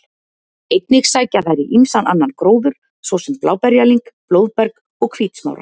Einnig sækja þær í ýmsan annan gróður, svo sem bláberjalyng, blóðberg og hvítsmára.